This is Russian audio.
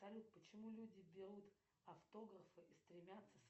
салют почему люди берут автографы и стремятся